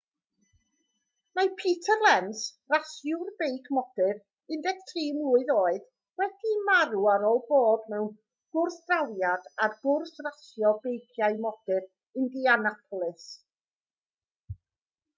mae peter lenz rasiwr beic modur 13 mlwydd oed wedi marw ar ôl bod mewn gwrthdrawiad ar gwrs rasio beiciau modur indianapolis